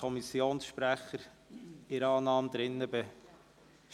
Kommissionssprecher der SAK.